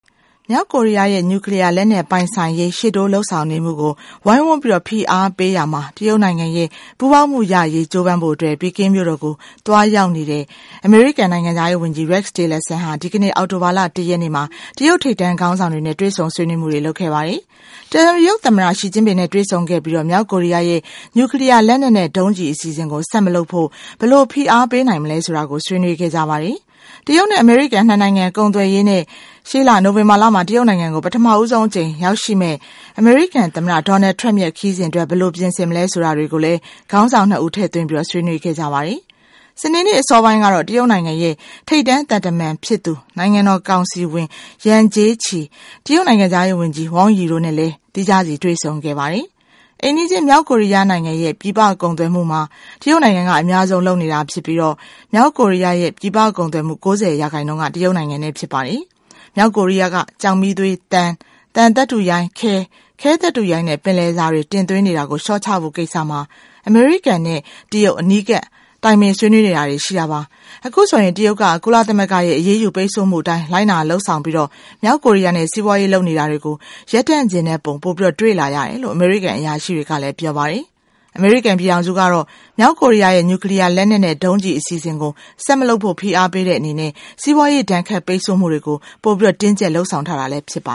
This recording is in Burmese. မြောက်ကိုရီးယားရဲ့ နျူကလီးယား လက်နက်နက်ပိုင်ဆိုင်ရေးရှေ့တိုးလုပ်ဆောင်နေမှုကို ဝိုင်းဝန်းဖိအားပေးရာမှာ တရုတ်နိုင်ငံရဲ့ ပူးပေါင်းမှုရရေး ကြိုးပမ်းဖို့ ပီကင်းမြို့တော်ကိုသွားရောက်ရှိသွားတဲ့ အမေရိကန်နိုင်ငံခြားရေးဝန်ကြီး Rex Tillerson ဟာ ဒီကနေ့မှာ တရုတ်ထိပ်တန်းခေါင်းဆောင်တွေနဲ့ တွေ့ဆုံဆွေးနွေးမှုတွေ လုပ်ခဲ့ပါတယ်။ တရုတ်သမ္မတ Xi Jinping နဲ့ တွေ့ဆုံခဲ့ပြီး မြောက်ကိုရီးယားရဲ့ နျူကလီးယား လက်နက်နဲ့ ဒုံးကျည်အစီအစဉ်ကို ဆက်မလုပ်ဖို့ ဘယ်လိုဖိအားပေးနိုင်မလဲဆိုတာကို ဆွေးနွေးခဲ့ကြပါတယ်။ တရုတ်နဲ့ အမေရိကန် ၂ နိုင်ငံ ကုန်သွယ်ရေးနဲ့ ရှေ့လ နိုဝင်ဘာလမှာ တရုတ်နိုင်ငံကို ပထမဆုံးအကြိမ်အဖြစ် ရောက်ရှိလာမယ့် အမေရိကန်သမ္မတ Donald Trump ရဲ့ ခရီးစဉ်အတွက် ဘယ်လိုပြင်ဆင်ကြမလဲဆိုတာတွေကိုလည်း ခေါင်းဆောင် ၂ ဦး ထည့်သွင်းဆွေးနွေးခဲ့ကြတာပါ။ စနေနေ့ အစောပိုင်းကတော့ တရုတ်နိုင်ငံရဲ့ထိပ်တန်းသံတမန်ဖြစ်သူ နိုင်ငံတော်ကောင်စီဝင် Yang Jiechi ယန်ဂျေးချီ တရုတ်နိုင်ငံခြားရေးဝန်ကြီး Wang Yi တို့နဲ့ သီးခြားစီ တွေ့ဆုံခဲ့ပါတယ်။ အိမ်နီးချင်း မြောက်ကိုရီးယား နိုင်ငံရဲ့ ပြည်ပကုန်သွယ်မှု မှာ တရုတ်နိုင်ငံက အများဆုံး လုပ်နေတာဖြစ်ပြီး မြောက်ကိုရီးယားရဲ့ ပြည်ပကုန်သွယ်မှု ၉၀ ရာခိုင်နှုန်းက တရုတ်နိုင်ငံနဲ့ ဖြစ်ပါတယ်။ မြောက်ကိုရီးယားက ကျောက်မီးသေး သံ၊ သံသတ္တုရိုင်း၊ ခဲ၊ ခဲသတ္တုရိုင်း နဲ့ ပင်လယ်စာ တွေ တင်သွင်းနေတာကိုလျှော့ချဖို့ ကိစ္စမှာ အမေရိကန်နဲ့ အနီးကပ်တိုင်ပင်ဆွေးနွေးတာတွေ ရှိတာပါ။ အခုဆို တရုတ်က ကုလသမဂ္ဂရဲ့ အရေးယူပိတ်ဆို့မှုအတိုင်း လိုက်နာလုပ်ဆောင်ပြီး မြောက်ကိုရီးယားနဲ့ စီးပွားရေးလုပ်နေတာတွေကို ရပ်တန့်ချင်တဲ့ပုံ ပိုတွေ့လာရတယ်လို့ အမေရိကန် အရာရှိတွေကလည်း ပြောပါတယ်။ အမေရိကန်ပြည်ထောင်စုကတော့ မြောက်ကိုရီးယားရဲ့ နျူကလီးယား လက်နက်နဲ့ ဒုံးကျည်အစီအစဉ်ကို ဆက်မလုပ်ဖို့ဖိအားပေးတဲ့အနေနဲ့ စီးပွားရေးဒဏ်ခတ်ပိတ်ဆို့မှုတွေကို ပိုတင်းကြပ်လုပ်ဆောင်ထားတာလည်း ဖြစ်ပါ